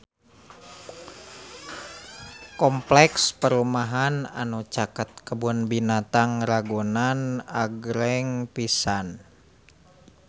Kompleks perumahan anu caket Kebun Binatang Ragunan agreng pisan